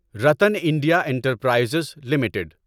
Ratan India Enterprises limited